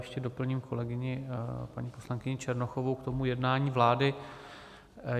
Ještě doplním kolegyni paní poslankyni Černochovou k tomu jednání vlády.